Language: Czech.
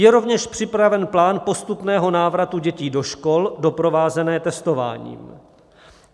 Je rovněž připraven plán postupného návratu dětí do škol doprovázený testováním.